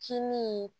Kin min